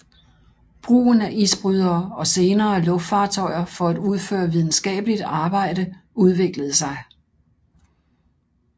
Brugen af isbrydere og senere luftfartøjer for at udføre videnskabeligt arbejde udviklede sig